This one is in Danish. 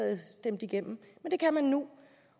det stemt igennem men det kan man nu